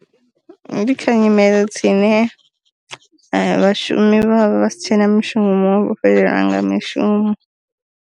Ndi kha nyimele dzine vhashumi vha vha vha sitshena mushumo vho fhelelwa nga mishumo.